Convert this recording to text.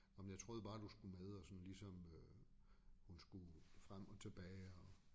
Ah men jeg troede bare du skulle med og sådan ligesom øh hun skulle frem og tilbage og